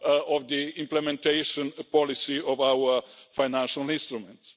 of the implementation policy of our financial instruments.